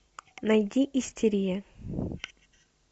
найди истерия